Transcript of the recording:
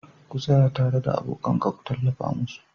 ka tsaya tare da abokan ka kuma ku tallafa musu